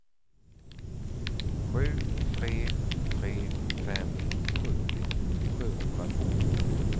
sju tre tre fem sjuttio sjuhundratvå